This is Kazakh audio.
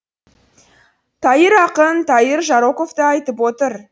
тайыр ақын тайыр жароковты айтып отыр